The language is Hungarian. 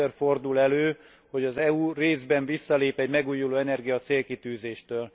Először fordul elő, hogy az EU részben visszalép egy megújulóenergia célkitűzéstől.